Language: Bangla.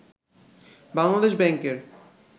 বাংলাদেশ ব্যাংকের